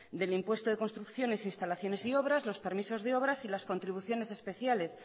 del impuesto de construcciones e instalaciones y obras los permisos de obras y las contribuciones especiales